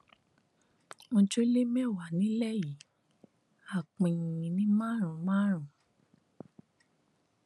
ojúlé mẹwàá nílẹ yìí á pín in ní márùnún márùnún